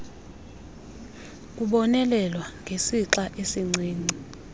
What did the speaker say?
kubonelelwa ngesixa esincinci